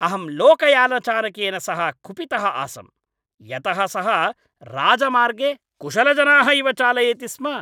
अहं लोकयानचालकेन सह कुपितः आसम् यतः सः राजमार्गे कुशलजनाः इव चालयति स्म।